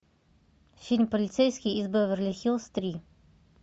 фильм полицейский из беверли хиллз три